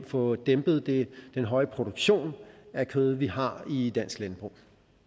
få dæmpet den høje produktion af kød vi har i dansk landbrug